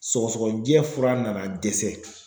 Sɔgɔsɔgɔnijɛ fura nana dɛsɛ.